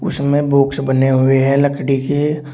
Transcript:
उसमें बॉक्स बने हुए हैं लकड़ी के--